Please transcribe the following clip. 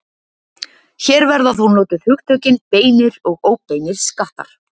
Hér verða þó notuð hugtökin beinir og óbeinir skattar.